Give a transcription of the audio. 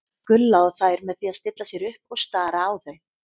Gulla og þær með því að stilla sér upp og stara á þau.